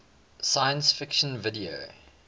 science fiction video